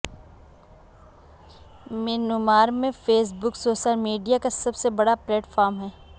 Myanmar میں Facebook social media کا سب سے بڑا پلیٹ فارم ہے